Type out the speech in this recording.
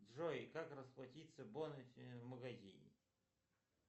джой как расплатиться бонусами в магазине